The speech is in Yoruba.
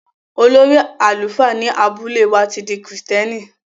Olórí àlùfáà ní abúlé wà ti dí Kristẹ́nì.